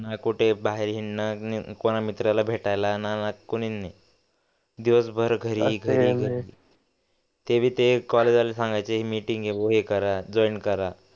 न कुठे बाहेर हिंडायला न कोना मित्राला भेटायला न कोणी नही दिवसभर घरी ते टेभी ते कॉलेज वाले सांगायचे हे मीटिंग आहे ते हे करा जॉइन करा